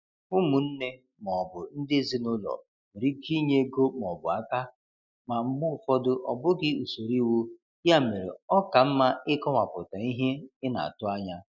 Ụmụnne ma ọ bụ ndị ezinụlọ nwere ike inye ego ma ọ bụ aka, ma mgbe ụfọdụ ọ bụghị usoro iwu, ya mere ọ ka mma ịkọwapụta ihe ị na-atụ anya.